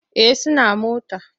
Eh suna mota.